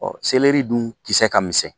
Ɔ seleri dun kisɛ ka misɛn